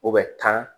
O bɛ tan